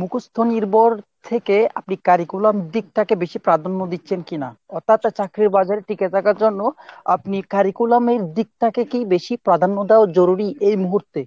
মুখস্ত নির্ভর থেকে আপনি curriculum দিকটাকে বেশি প্রাধান্য দিচ্ছেন কিনা? অর্থাৎ চাকরির বাজারে টিকে থাকার জন্য আপনি curriculum এর দিকটাকে কি বেশি প্রাধান্য দেওয়া জরুরী এই মুহূর্তে?